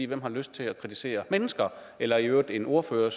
hvem har lyst til at kritisere mennesker eller i øvrigt en ordfører